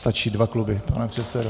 Stačí dva kluby, pane předsedo.